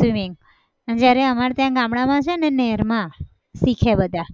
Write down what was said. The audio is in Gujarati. swimming. જયારે આમરે ત્યાં ગામડામાં છે ને નેરમાં શીખે બધા.